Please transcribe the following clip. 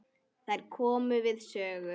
Þær komu við sögu.